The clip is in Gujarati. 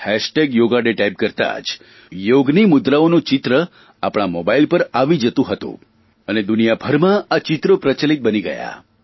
hash tag Yoga Day type કરતાં જ યોગની મુદ્રાઓનું ચિત્ર આપણા મોબાઇલ પર આવી જતું હતું અને દુનિયાભરમાં આ ચિત્રો પ્રચલીત બની ગયાં